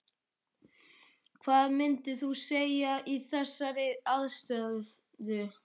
Hvað myndir þú gera í þessari aðstöðu?